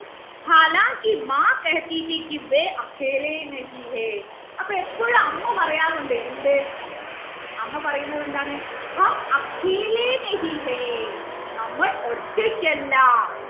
അപ്പൊ എപ്പോഴും അമ്മ പറയാറുണ്ട് എന്ത് അമ്മ പറയുന്നത് എന്താണ് നമ്മൾ ഒറ്റയ്ക്കല്ലാ